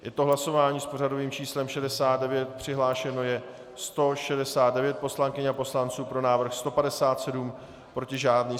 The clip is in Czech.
Je to hlasování s pořadovým číslem 69, přihlášeno je 169 poslankyň a poslanců, pro návrh 157, proti žádný.